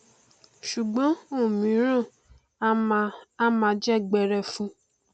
ṣùgbọn òmíràn a máa a máa jẹ gberefu